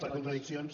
per contradiccions